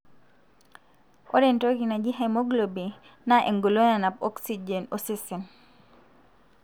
Oreentoki naaji haeoglobin na engolon nanap oxygen osesen.